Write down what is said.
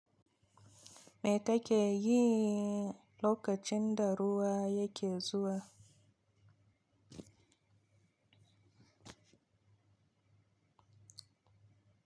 Me ka ke yi lokacin da ruwa yake zuwa?